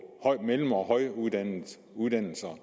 mellem og højtuddannedes uddannelser